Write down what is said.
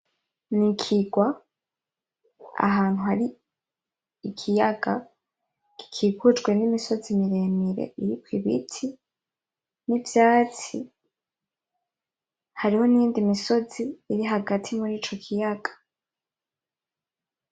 Ni ikigwa, ahantu hari ikiyaga gikikujwe n'imisozi miremire iriko ibiti n'ivyatsi. Hariho n'iyindi misozi iri hagati muri ico kiyaga.